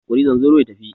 Kori zanzaro ya tafi!